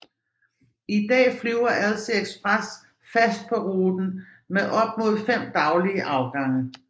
I dag flyver Alsie Express fast på ruten med op mod fem daglige afgange